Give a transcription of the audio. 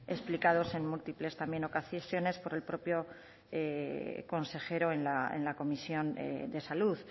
explicados en múltiples también ocasiones por el propio consejero en la comisión de salud